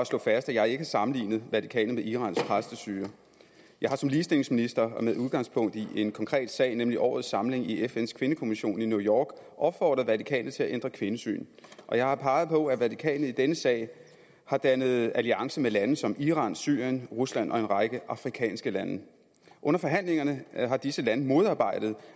slå fast at jeg ikke har sammenlignet vatikanet med irans præstestyre jeg har som ligestillingsminister og med udgangspunkt i en konkret sag nemlig årets samling i fns kvindekommission i new york opfordret vatikanet til at ændre kvindesyn jeg har peget på at vatikanet i denne sag har dannet alliance med lande som iran syrien rusland og en række afrikanske lande under forhandlingerne har disse lande modarbejdet